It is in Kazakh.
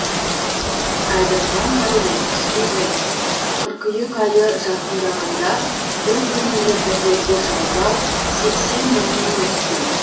әділхан дәулет студент қыркүйек айы жақындағанда бір бөлмелі пәтерді жалдау сексен мыңның үсті